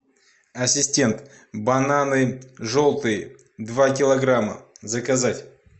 ассистент бананы желтые два килограмма заказать